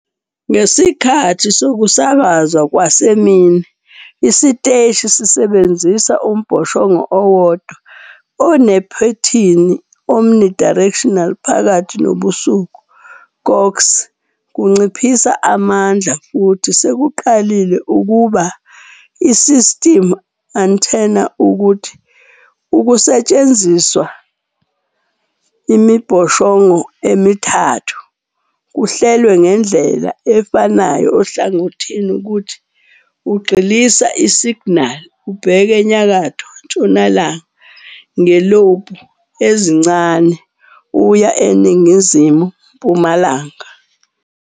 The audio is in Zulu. Ngesikhathi sokusakazwa kwasemini, isiteshi sisebenzisa umbhoshongo owodwa onephethini omnidirectional Phakathi nobusuku, KOKX kunciphisa amandla futhi sekuqalile ukuba isistimu antenna ukuthi ukusetshenziswa imibhoshongo ezintathu kuhlelwe ngendlela afanayo ohlangothini ukuthi ugxilisa isiginali ubheke enyakatho-ntshonalanga, nge Lobe ezincane uya eningizimu-mpumalanga.